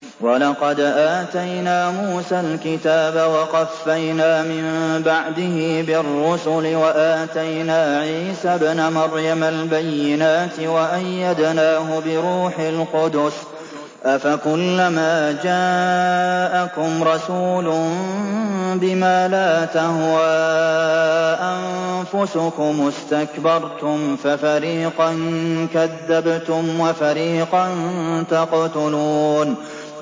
وَلَقَدْ آتَيْنَا مُوسَى الْكِتَابَ وَقَفَّيْنَا مِن بَعْدِهِ بِالرُّسُلِ ۖ وَآتَيْنَا عِيسَى ابْنَ مَرْيَمَ الْبَيِّنَاتِ وَأَيَّدْنَاهُ بِرُوحِ الْقُدُسِ ۗ أَفَكُلَّمَا جَاءَكُمْ رَسُولٌ بِمَا لَا تَهْوَىٰ أَنفُسُكُمُ اسْتَكْبَرْتُمْ فَفَرِيقًا كَذَّبْتُمْ وَفَرِيقًا تَقْتُلُونَ